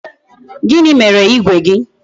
Gịnị mere igwe gị?